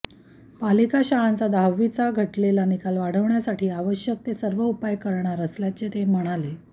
पालिका शाळांचा दहावीचा घटलेला निकाल वाढवण्यासाठी आवश्यक ते सर्व उपाय करणार असल्याचेही ते म्हणाले